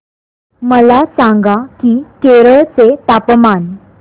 मला सांगा की केरळ चे तापमान